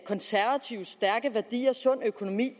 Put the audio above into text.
konservatives stærke værdier er sund økonomi